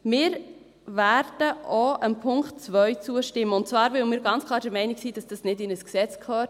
Wir werden auch dem Punkt 2 zustimmen, und zwar, weil wir ganz klar der Meinung sind, dass das nicht in ein Gesetz gehört.